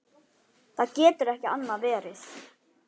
Það getur ekki annað verið.